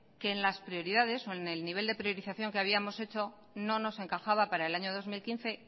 que en las prioridades o en el nivel de priorización que habíamos hecho no nos encajaba para el año dos mil quince